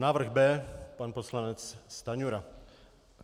Návrh B pan poslanec Stanjura.